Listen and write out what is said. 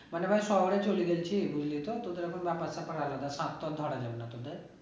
মানে ভাই শহরে চলে গেছি বুঝলি তো তোদের এখন ব্যাপার স্যাপার আলাদা ধরা যাবে না তোদের